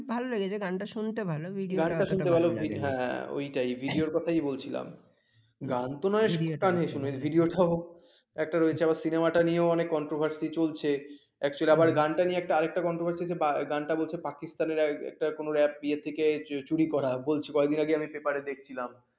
একটা রয়েছে আবার cinema নিয়েও controversy চলছে। actually আবার গানটাকে নিয়ে আর একটা controversy চলছে গানটা বলছে পাকিস্তানের কোন rap ইয়ে থেকে চুরি করা বলছে কয়েকদিন আগে আমি paper দেখছিলাম